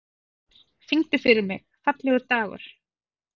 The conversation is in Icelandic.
Ver, syngdu fyrir mig „Fallegur dagur“.